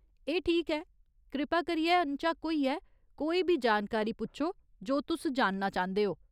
एह् ठीक ऐ, कृपा करियै नझक्क होइयै कोई बी जानकारी पुच्छो जो तुस जानना चांह्दे ओ ?